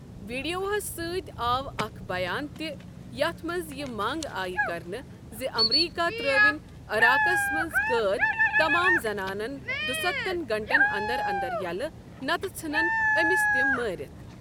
ویٖڈِیوہس سٕتۍ آو اکھ بَیان تہِ یتھ منٛز یہِ منٛگ آیہ کرنہٕ زِ امریٖکہ ترٛٲون عِراقس منٛز قٲد تمام زنانن دستھن گٲنٛٹن انٛدر انٛدر یَلہٕ نتہٕ ژٕھنن أمس تم مٲرِتھ۔